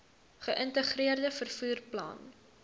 geïntegreerde vervoer plan